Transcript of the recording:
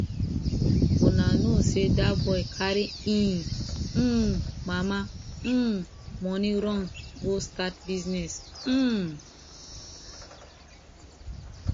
una no say dat boy carry im um mama um money run go start business um